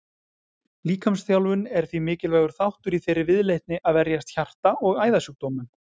Líkamsþjálfun er því mikilvægur þáttur í þeirri viðleitni að verjast hjarta- og æðasjúkdómum.